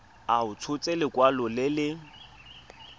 a tshotse lekwalo le le